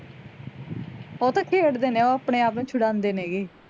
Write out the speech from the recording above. ਉਹ ਤਾਂ ਖੇਡ ਦੇ ਨੇ ਉਹ ਆਪਣੇ ਆਪ ਨੂੰ ਛੁੜਾਂਦੇ ਨੇ ਗੇ